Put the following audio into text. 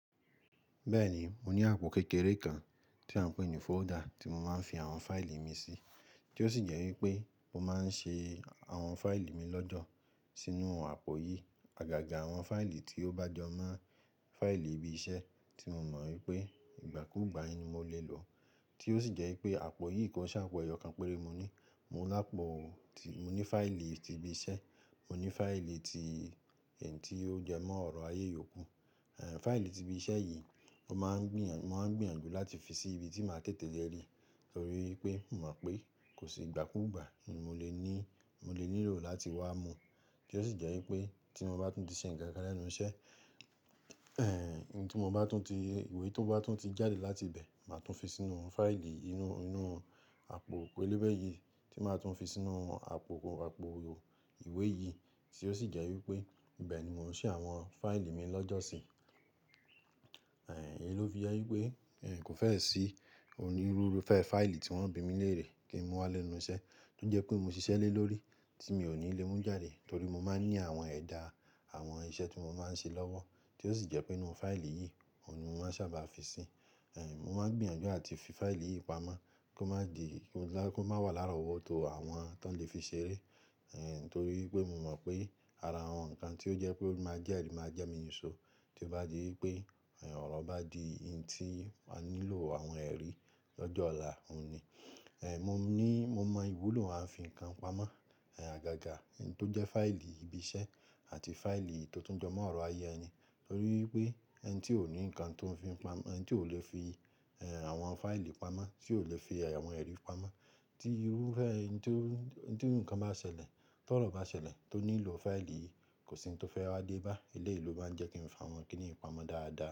Bẹ́ẹ̀ni, mo ní àpò kékeré kan tí à ń pè ní folder tí mo máa ń fi àwọn fáìlì mi sí, tí ó sì jẹ́ wípé mo máa ń ṣe àwọn fáìlì mi lọ́jọ́ sínú àpò yìí. Àgàgà àwọn fáìlì tí ó bá jọ mọ́ fáìlì ibi iṣẹ́ tí mo mọ̀ wípé ìgbàkúgbà yẹn ni mo lè lò ó, tí ó sì jẹ́ wípé àpò yìí ko n ṣopo eyọkàn péré mo ní. Mo ní fáìlì ti ibi iṣẹ́, mo ní fáìlì ti ẹni tí ó jẹ́ mọ́ ọ̀rọ̀ ayé yòókù. Ẹ̀h, fáìlì ti ibi iṣẹ́ yìí mo máa ń gbìyànjú láti fi sí ibi tí màá tètè lè rí, torí pé mò mọ̀ pé kò sì ìgbàkúgbà mi ò lè nílò láti wá mú, tí ó sì jẹ́ wípé tí mo bá tún di sé ǹ kankan lẹ́nu iṣẹ́, ẹ̀h, ìwé tó bá tún ti jáde láti ibẹ̀, màá tún fi sínú fáìlì inú àpò pélébé yìí, tí màá tún fi sínú àpò ìwé yìí, tí ó sì jẹ́ wípé ibẹ́ ni mò ń ṣí àwọn fáìlì mi lọ́jọ́ sí. Ẹ̀h, èyí ló fi jẹ wípé n kò fẹ́ sí ònírúfẹ́ fáìlì tí wọ́n o bí mi léèrè kí n mu wá lé lu iṣẹ́, tó jẹ́ pé mo ṣiṣẹ́ lé lórí tí mi ò ní lè mú jáde torí mo máa ń ní àwọn ẹ̀dà àwọn iṣẹ́ tí mo máa ń ṣe lọ́wọ́, tí ó sì jẹ́ pé inú fáìlì yìí ni mo máa ń sábà fi sín. Ẹ̀h, mo máa ń gbìyànjú àti fi fáìlì yìí pamọ́ kó má wà lára owó tó àwọn tí wọ́n lè fi ṣeré, ẹ̀h, torí pé mo mọ̀ pé ara àwọn nǹkan tí ó jẹ́ pé ó máa jẹ́ ẹrí máa jẹ́ mi níṣo tí ó bá di wípé ọ̀rọ̀ bá di n tí a nílò àwọn ẹrí lọ́jọ́ ọ̀la, òun ni. Ẹ̀h, mo mọ ìwúlò à ń fi nǹkan pamọ́, ẹ̀h, àgàgà tó jẹ́ fáìlì ibi iṣẹ́ àti fáìlì tó tún jọ mọ́ ọ̀rọ̀ ayé ẹni torí pé ẹni tí ò ní nǹkan tó lè fi àwọn fáìlì pamọ́, tí ò lè fi àwọn ẹrí pamọ́ tí irúfẹ́ tí nǹkan bá ṣẹlẹ̀, tó ọ̀rọ̀ bá ṣẹlẹ̀ tó nílò fáìlì yìí, kò sí ohun tó fẹ́ wá dé bá. Eleyii lo máa ń jẹ́ ki n fa wọn kí nìí pamọ́ dáadáa.